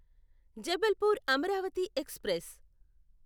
Jabalpur Amravati express